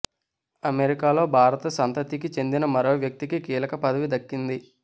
అమెరికాలో భారత సంతతికి చెందిన మరో వ్యక్తికి కీలక పదవి దక్కింది